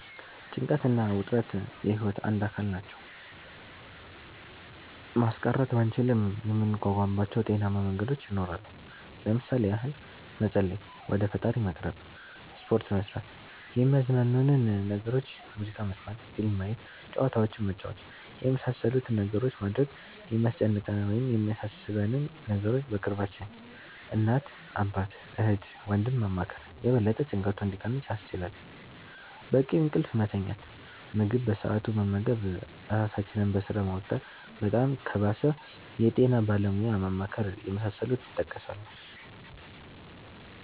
ጭንቀት እና ውጥረት የህይወት አንድ አካል ናቸው። ማስቀረት ባንችልም የምንቋቋምባቸው ጤናማ መንገዶች ይኖራሉ። ለምሣሌ ያህል መፀለይ(ወደ ፈጣሪ መቅረብ)፣ሰፖርት መስራት፣ የሚያዝናኑንን ነገሮች (ሙዚቃ መስመት፣ ፊልም ማየት፣ ጨዋታዎችንን መጫወት)የመሣሠሉትን ነገሮች ማድረግ፣ የሚያስጨንቀንን ወይም የሚያሣሦበንን ነገሮች በቅርባችን (እናት፣ አባት፣ እህት፣ ወንድም )ማማከር የበለጠ ጭንቀቱ እንዲቀንስ ያስችላል፣ በቂ እንቅልፍ መተኛት፣ ምግብ በሠአቱ መመገብ ራሣችንን በሥራ መወጠር፣ በጣም ከባሠ የጤና ባለሙያ ማማከር የመሣሠሉት ይጠቀሳሉ።